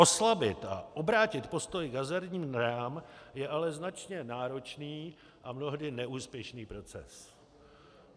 Oslabit a obrátit postoj k hazardním hrám je ale značně náročný a mnohdy neúspěšný proces.